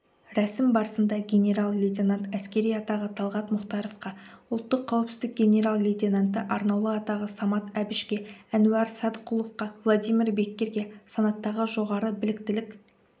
рәсім барысында генерал-лейтенант әскери атағы талғат мұхтаровқа ұлттық қауіпсіздік генерал-лейтенанты арнаулы атағы самат әбішке әнуар садықұловқа владимир беккерге санаттағы жоғары біліктілік